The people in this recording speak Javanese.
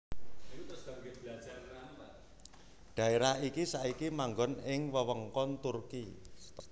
Dhaérah iki saiki manggon ing wewengkon Turki